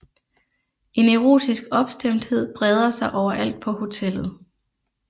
En erotisk opstemthed breder sig overalt på hotellet